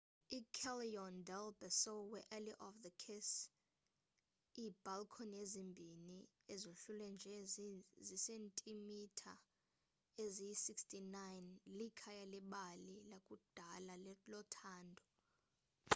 iicallejon del beso we-alley of the kiss. iibhalkhoni ezimbini ezohlulwe nje ziisentimitha eziyi-69 likhaya lebali lakudala lothando